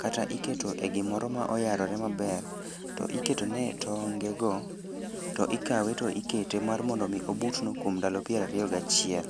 kata iketo e gimoro ma oyarore maber to iketone e tongego to ikawe to ikete mar mondo omi obutno kuom ndalo pier ariyo gachiel.